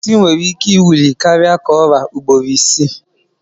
Pusi can nwere ike iwuli karia ka ọra ugboro isi.